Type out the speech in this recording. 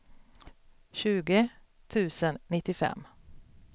tjugo tusen nittiofem